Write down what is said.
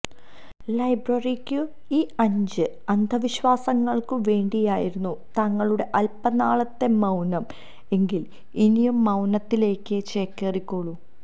ലൈബ്രറിയ്ക്കും ഈ അഞ്ച് അന്ധവിശ്വാസങ്ങള്ക്കും വേണ്ടിയായിരുന്നു താങ്കളുടെ അല്പനാളത്തെ മൌനം എങ്കില് ഇനിയും മൌനത്തിലേക്ക് ചേക്കേറിക്കൊള്ളൂ